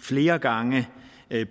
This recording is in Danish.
flere gange